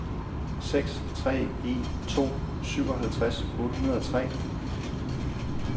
seks tre en to syvoghalvtreds otte hundrede og tre